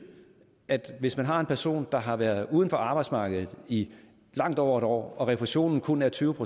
at hvis man har en person der har været uden for arbejdsmarkedet i langt over et år og refusionen kun er tyve